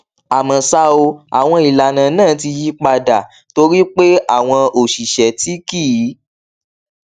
àmó ṣá o àwọn ìlànà náà ti yí pa dà torí pé àwọn òṣìṣé tí kì